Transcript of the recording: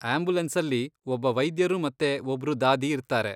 ಆಂಬ್ಯುಲೆನ್ಸಲ್ಲಿ ಒಬ್ಬ ವೈದ್ಯರು ಮತ್ತೆ ಒಬ್ರು ದಾದಿ ಇರ್ತಾರೆ.